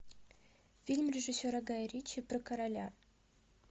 фильм режиссера гая ричи про короля